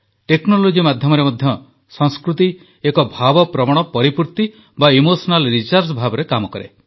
technology ମାଧ୍ୟମରେ ମଧ୍ୟ ସଂସ୍କୃତି ଏକ ଭାବପ୍ରବଣ ପରିପୂର୍ତ୍ତି ଇମୋଶନାଲ୍ ରିଚାର୍ଜ ଭାବରେ କାମ କରେ